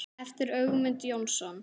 eftir Ögmund Jónsson